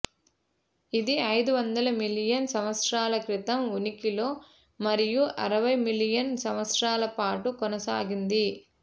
ఇది ఐదు వందల మిలియన్ సంవత్సరాల క్రితం ఉనికిలో మరియు అరవై మిలియన్ సంవత్సరాల పాటు కొనసాగింది